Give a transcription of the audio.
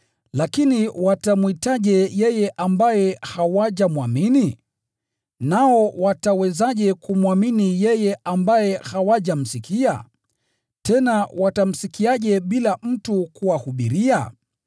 Lakini watamwitaje yeye ambaye hawajamwamini? Nao watawezaje kumwamini yeye ambaye hawajamsikia? Tena watamsikiaje bila mtu kuwahubiria?